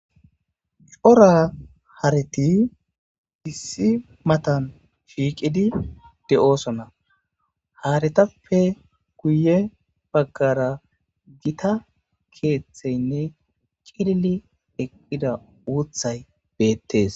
Cora haretti issi matan shiiqqidi de'osonna ha haretappe guye baggara gita keeththeynne cillili ekkida uuththay beettes